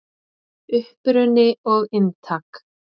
Uppruni og inntak.